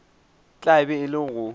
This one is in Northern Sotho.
tla be e le go